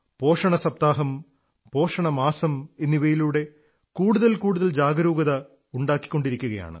പോഷണസപ്താഹം പോഷണമാസം എന്നിവയിലൂടെ കൂടുതൽ കൂടുതൽ ജാഗരൂകത ഉണ്ടാക്കിക്കൊണ്ടിരിക്കയാണ്